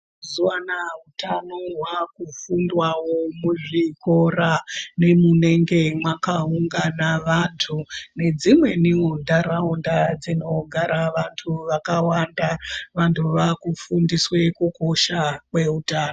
Mazuvaanaya ,hutano hwakufundwawo muzvikora nemunenge makaungana vantu ,nedzimweniwo ntaraunda dzinogara vantu vakawanda ,vantu vaakufundiswe kukosha kwehutano.